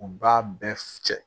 U b'a bɛɛ cɛ